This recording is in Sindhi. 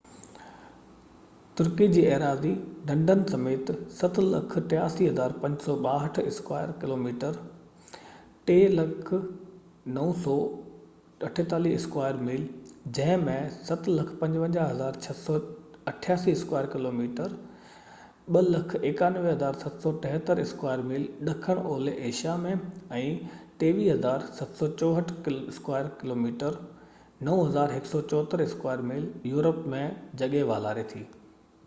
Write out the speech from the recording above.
ترقي جي ايراضي، ڍنڍن سميت، 783،562 اسڪوائر ڪلوميٽرس 300،948 اسڪوائر ميل، جنهن ۾ 755،688 اسڪوائر ڪلوميٽرس 291،773 اسڪوائر ميل ڏکڻ اولهہ Asia ۾۽ 23،764 square kilometres 9،174 square mile Europe ۾ جڳهہ والاري ٿي